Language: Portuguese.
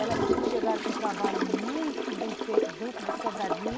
Elas chegaram com um trabalho muito bem feito dentro de Sobradinho.